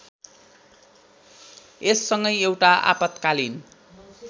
यससँगै एउटा आपत्कालीन